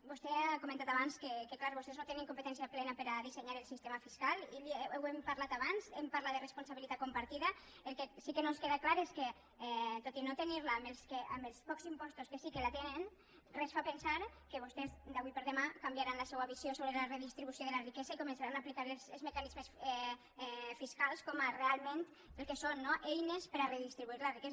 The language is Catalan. vostè ha comentat abans que és clar vostès no tenen competència plena per a dissenyar el sistema fiscal i ho hem parlat abans hem parlat de responsabilitat compartida el que sí que no ens queda clar és que tot i no tenir la amb els pocs impostos que sí que la tenen res fa pensar que vostès avui per demà canviaran la seua visió sobre la redistribució de la riquesa i començaran a aplicar els mecanismes fiscals com real ment el que són no eines per a redistribuir la riquesa